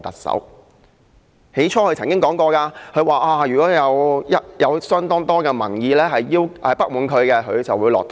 她曾說如果有相當多的民意表示不滿，她會下台。